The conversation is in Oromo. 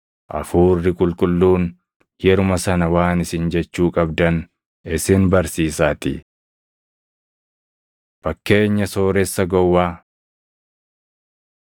Hafuurri Qulqulluun yeruma sana Waan isin jechuu qabdan isin barsiisaatii.” Fakkeenya Sooressa Gowwaa